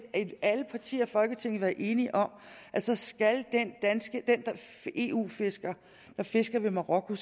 alle partier i folketinget været enige om at så skal den eu fisker der fisker ved marokko